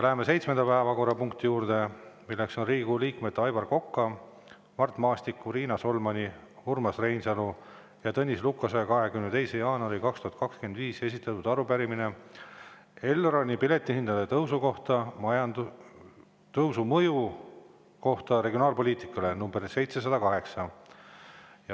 Läheme seitsmenda päevakorrapunkti juurde, milleks on Riigikogu liikmete Aivar Koka, Mart Maastiku, Riina Solmani, Urmas Reinsalu ja Tõnis Lukase 22. jaanuaril 2025 esitatud arupärimine Elroni piletihindade tõusu mõju kohta regionaalpoliitikale, number 708.